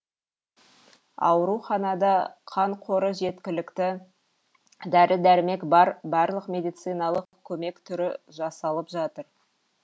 ауруханада қан қоры жеткілікті дәрі дәрмек бар барлық медицналық көмек түрі жасалып жатыр